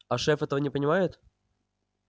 а шеф этого не понимает